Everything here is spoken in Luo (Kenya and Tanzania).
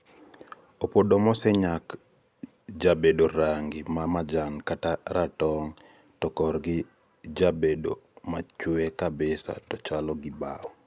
Opodo mosenyak jabedo rangi ma majan kata ratong to korgi jabedo machwee kabisa to chalo gi bao